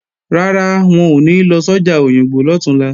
Rárá, wọn ò ní lọ sọ́jà Òyìngbò lọ̀túnla